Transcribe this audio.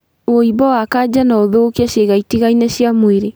Wũimbo wa kaja noũthũkie ciĩga itigaine cia mwĩrĩ